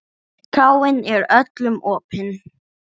Kráin er öllum opin.